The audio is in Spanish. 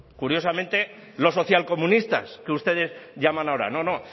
curiosamente los socialcomunistas que ustedes llaman ahora no no